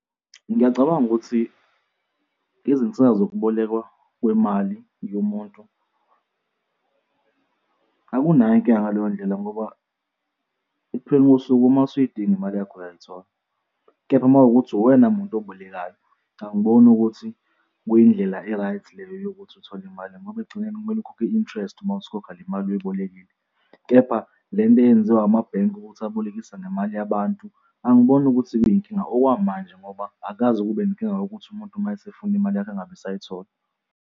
Ngiyacabanga ukuthi izinsiza zokubolekwa kwemali yomuntu akunayo inkinga ngaleyo ndlela ngoba ekupheleni kosuku uma usuyidinga imali yakho, uyayithola, kepha uma kuwukuthi uwena muntu obolekayo, angiboni ukuthi kuyindlela e-right leyo yokuthi uthole imali ngoba ekgcineni kumele ukhokhe i-interest uma usukhokha le mali uyibolekile. Kepha le nto eyenziwa amabhenki ukuthi abolekisa ngemali yabantu, angiboni ukuthi kuyinkinga okwamanje ngoba akukaze kube nenkinga yokuthi umuntu uma esefuna imali yakhe engabe esayithola.